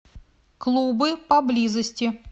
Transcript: клубы поблизости